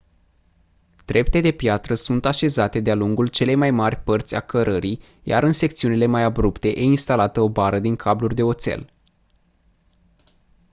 trepte de piatră sunt așezate de-a lungul celei mai mari părți a cărării iar în secțiunile mai abrupte e instalată o bară din cabluri de oțel